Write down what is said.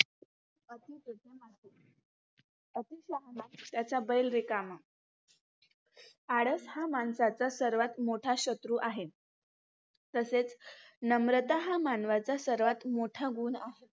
अती शहाणा त्याचा बैल रिकामा, आळस हा माणसाचा सर्वात मोठा शत्रू आहे. तसेच नम्रता हा मानवाचा सर्वात मोठा गुण आहे.